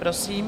Prosím.